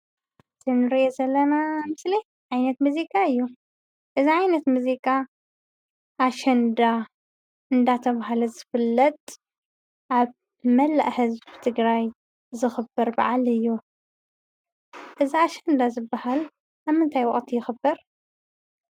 እዚ እንሪኦ ዘለና ምስሊ ዓይነት ሙዚቃ እዩ፡፡ እዚ ዓይነት ሙዚቃ ኣሸንዳ እንዳተባሃለ ዝፍለጥ ኣብ መላእ ህዝቢ ትግራይ ዝክበር በዓል እዩ፡፡ እዚ ኣሸንዳ ዝባሃል ኣብ ምንታይ ወቅቲ ይክበር?